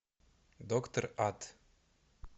доктор ад